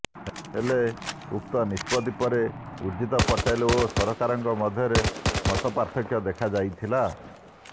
ହେଲେ ଉକ୍ତ ନିଷ୍ପତ୍ତି ପରେ ଉର୍ଜିତ ପଟେଲ ଓ ସରକାରଙ୍କ ମଧ୍ୟରେ ମତପାର୍ଥକ୍ୟ ଦେଖାଯାଇଥିଲା